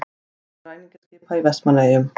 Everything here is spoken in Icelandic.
Sést til ræningjaskipa í Vestmannaeyjum.